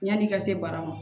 Yan'i ka se barama